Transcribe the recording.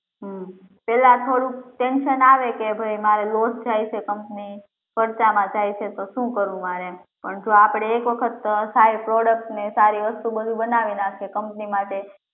હમ્મ પેહલા થોડુંક tension આવે કે ભાઈ મારે loss જાય છે પણ ખર્ચ માં જાય છે તો સુ કરવું મારે એમ પણ આપડે જો એક વખત સારી વસ્તુ ને product બનાવી નાખીએ company માટે